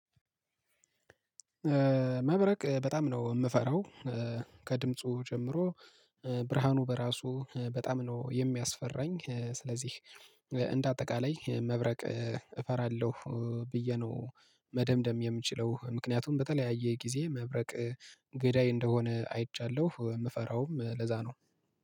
መብረቅ በጣም ነው የምፈራው። ከድምፁ ጀምሮ ብርሃኑ በራሱ በጣም ነው የሚያስፈራኝ። ስለዚህ እንደ አጠቃላይ መብረቅ እፈራለሁ ብዬ ነው መደምደም የምችለው። ምክንያቱም በተለያየ ጊዜ መብረቅ ገዳይ እንደሆነ አይቻለሁ። የምፈራውም ለዛ ነው